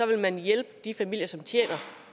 vil man hjælpe de familier som tjener